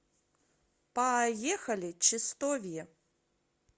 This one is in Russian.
поехали чистовье